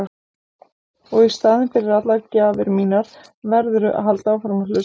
Og í staðinn fyrir allar gjafir mínar verðurðu að halda áfram að hlusta.